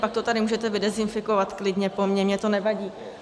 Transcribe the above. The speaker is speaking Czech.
Pak to tady můžete vydezinfikovat klidně po mně, mně to nevadí.